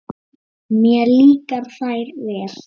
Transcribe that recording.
Mér líka þær vel.